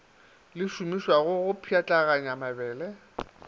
le šomišwago go pšhatlaganya mabele